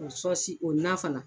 O sɔsi o nan fana.